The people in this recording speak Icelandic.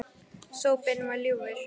Sopinn var ljúfur.